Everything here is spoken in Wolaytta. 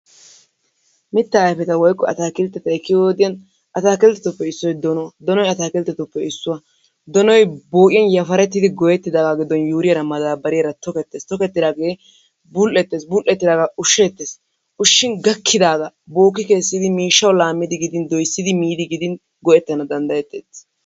Mitta ayfeta woykko atakilttet ekkiyo wodiyaan atakilttetuppe issoy donuwaa, donoy atakilttetuppa issuwaa, donoy bo'iyaan yafarettidi goyyettidaaga yafarettidi giddon yuuriyaara maddabariyaara tokketes, tokketidaagee bul''ettes. bul'eettidaaga ushsetees. ushshin gaakidaaga booki kessidi miishshaw laammidi gidin doossidi miidi gidin go''ettana danddayetees.